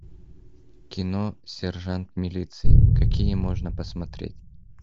кино сержант милиции какие можно посмотреть